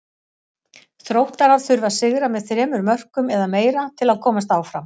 Þróttarar þurfa að sigra með þremur mörkum eða meira til að komast áfram.